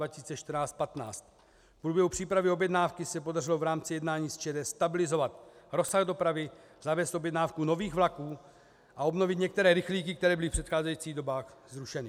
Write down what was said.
V průběhu přípravy objednávky se podařilo v rámci jednání s ČD stabilizovat rozsah dopravy, zavést objednávku nových vlaků a obnovit některé rychlíky, které byly v předcházejících dobách zrušeny.